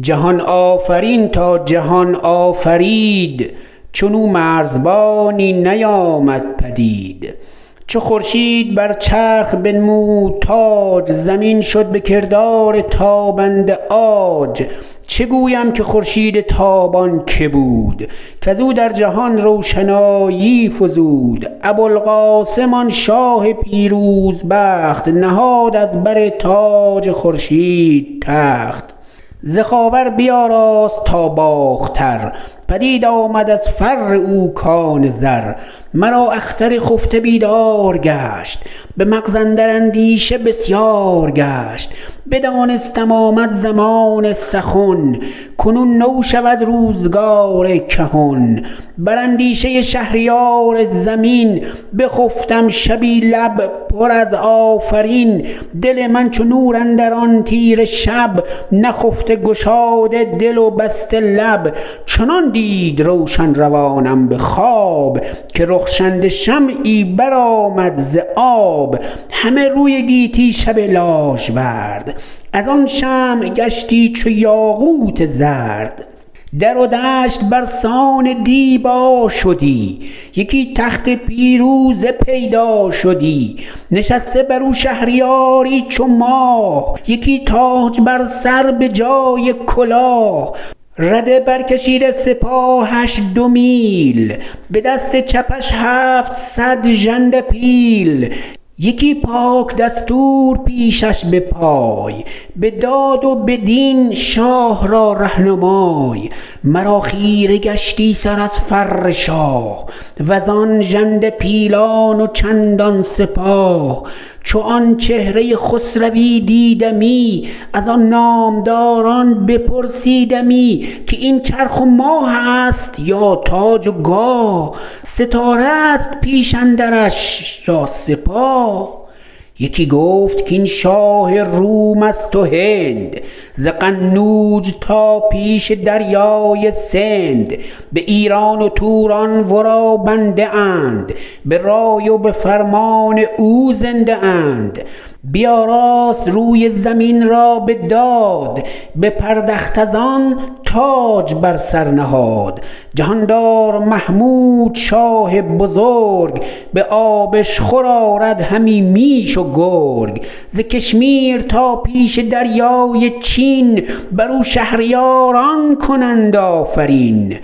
جهان آفرین تا جهان آفرید چون او مرزبانی نیامد پدید چو خورشید بر چرخ بنمود تاج زمین شد به کردار تابنده عاج چه گویم که خورشید تابان که بود کز او در جهان روشنایی فزود ابوالقاسم آن شاه پیروز بخت نهاد از بر تاج خورشید تخت ز خاور بیاراست تا باختر پدید آمد از فر او کان زر مرا اختر خفته بیدار گشت به مغز اندر اندیشه بسیار گشت بدانستم آمد زمان سخن کنون نو شود روزگار کهن بر اندیشه شهریار زمین بخفتم شبی لب پر از آفرین دل من چو نور اندر آن تیره شب نخفته گشاده دل و بسته لب چنان دید روشن روانم به خواب که رخشنده شمعی بر آمد ز آب همه روی گیتی شب لاژورد از آن شمع گشتی چو یاقوت زرد در و دشت بر سان دیبا شدی یکی تخت پیروزه پیدا شدی نشسته بر او شهریاری چو ماه یکی تاج بر سر به جای کلاه رده بر کشیده سپاهش دو میل به دست چپش هفتصد ژنده پیل یکی پاک دستور پیشش به پای به داد و به دین شاه را رهنمای مرا خیره گشتی سر از فر شاه و زان ژنده پیلان و چندان سپاه چو آن چهره خسروی دیدمی از آن نامداران بپرسیدمی که این چرخ و ماه است یا تاج و گاه ستاره است پیش اندرش یا سپاه یکی گفت کاین شاه روم است و هند ز قنوج تا پیش دریای سند به ایران و توران ورا بنده اند به رای و به فرمان او زنده اند بیاراست روی زمین را به داد بپردخت از آن تاج بر سر نهاد جهاندار محمود شاه بزرگ به آبشخور آرد همی میش و گرگ ز کشمیر تا پیش دریای چین بر او شهریاران کنند آفرین